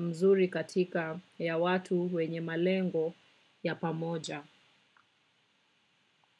mzuri katikati ya watu wenye malengo ya pamoja.